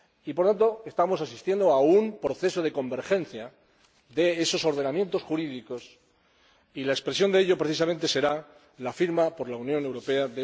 Por lo tanto, estamos asistiendo a un proceso de convergencia de esos ordenamientos jurídicos y la expresión de ello, precisamente, será la firma de ese Convenio por la Unión Europea.